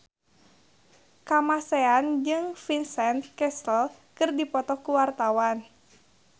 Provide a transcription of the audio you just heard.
Kamasean jeung Vincent Cassel keur dipoto ku wartawan